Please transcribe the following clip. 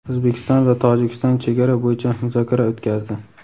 O‘zbekiston va Tojikiston chegara bo‘yicha muzokara o‘tkazdi.